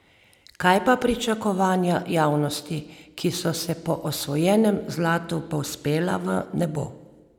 Kaj pa pričakovanja javnosti, ki so se po osvojenem zlatu povzpela v nebo?